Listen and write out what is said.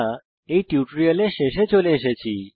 এই টিউটোরিয়ালের শেষে চলে এসেছি